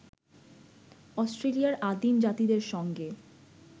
অস্ট্রেলিয়ার আদিম জাতিদের সঙ্গে